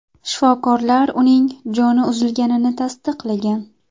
Shifokorlar uning joni uzilganini tasdiqlagan.